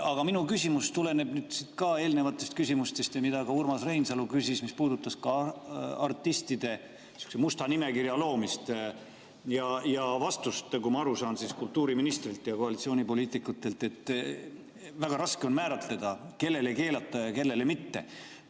Aga minu küsimus tuleneb ka eelnevatest küsimustest ja sellest, mida Urmas Reinsalu küsis, mis puudutas artistide musta nimekirja loomist ja vastust, nagu ma aru saan, kultuuriministrilt ja koalitsioonipoliitikutelt, et väga raske on määratleda, kellele keelata ja kellele mitte.